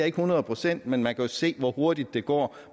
ikke hundrede procent men man kan jo se hvor hurtigt det går